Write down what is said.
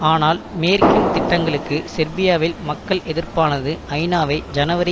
ஆனால் மேற்கின் திட்டங்களுக்கு செர்பியாவில் மக்கள் எதிர்ப்பானது ஐநாவை ஜனவரி